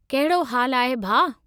कहिड़ो हालु आहे, भाउ?